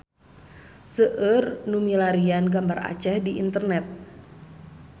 Seueur nu milarian gambar Aceh di internet